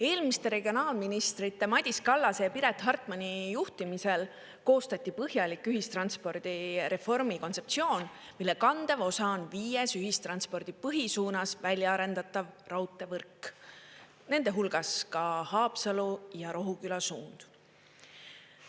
Eelmiste regionaalministrite Madis Kallase ja Piret Hartmani juhtimisel koostati põhjalik ühistranspordireformi kontseptsioon, mille kandev osa on viies ühistranspordi põhisuunas välja arendatav raudteevõrk, nende hulgas ka Haapsalu ja Rohuküla suund.